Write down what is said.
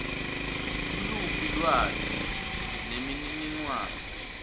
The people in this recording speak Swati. nguluphi lwati nemininingwane